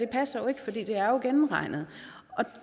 passer fordi det er gennemregnet og